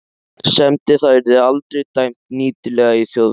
semdi það yrði aldrei dæmt nýtilegt í Þjóðviljanum.